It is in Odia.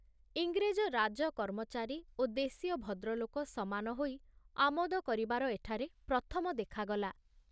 ଇଂରେଜ ରାଜ କର୍ମଚାରୀ ଓ ଦେଶୀୟ ଭଦ୍ରଲୋକ ସମାନ ହୋଇ ଆମୋଦ କରିବାର ଏଠାରେ ପ୍ରଥମ ଦେଖାଗଲା।